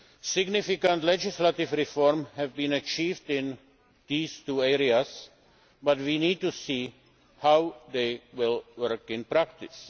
Significant legislative reforms have been achieved in these two areas, but we need to see how they will work in practice.